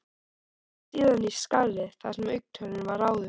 um síðan í skarðið þar sem augntönnin var áður.